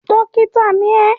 Dọ́kítá ni ẹ́!